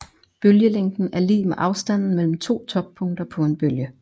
Bølgelængden er lig med afstanden mellem to toppunkter på en bølge